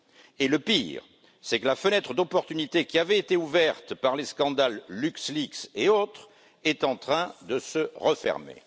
Et le pire, c'est que la fenêtre d'opportunité qui avait été ouverte par les scandales LuxLeaks et autres est en train de se refermer.